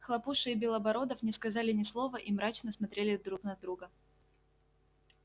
хлопуша и белобородов не сказали ни слова и мрачно смотрели друг на друга